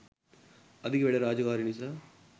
අධික වැඩ රාජකාරි නිසා